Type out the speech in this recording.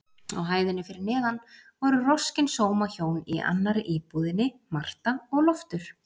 Á hæðinni fyrir neðan voru roskin sómahjón í annarri íbúðinni, Marta og Loftur.